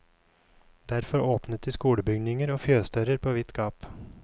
Derfor åpnet de skolebygninger og fjøsdører på vidt gap.